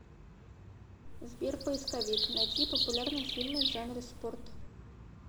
сбер поисковик найти популярные фильмы в жанре спорт